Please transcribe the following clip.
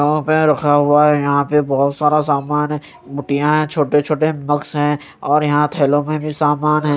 यहां पे रखा हुआ है यहां पे बहोत सारा सामान है मुठिया है छोटे छोटे मग्स है और यहां थैलों में भी समान है।